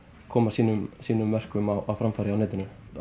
koma sínum sínum verkum á framfæri á netinu